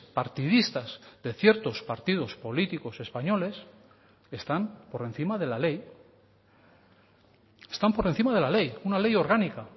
partidistas de ciertos partidos políticos españoles están por encima de la ley están por encima de la ley una ley orgánica